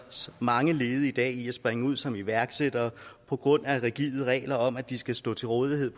mange ledige i dag i at springe ud som iværksættere på grund af rigide regler om at de skal stå til rådighed